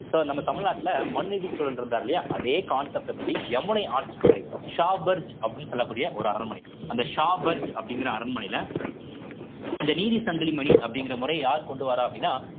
so நம்ம தமிழ்நாட்டுல மன்நீதி சோழன் இருந்தாரு இல்லையா அதே concept அப்படி யமுனை ஆற்றங்கரை ஷா பர்ஜ் அப்படின்னு சொல்லக்கூடிய ஒரு அரண்மனை அந்த ஷா பர்ஜ் அப்படிங்கிற அரண்மனையில இந்த நீதி சங்கிலிமணி அப்படிங்கிற முறை யார் கொண்டு வர்றா அப்படின்னா